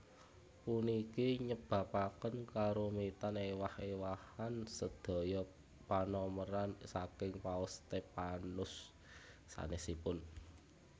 Puniki nyebabaken karumitan éwah éwahan sedaya panomeran saking Paus Stephanus sanèsipun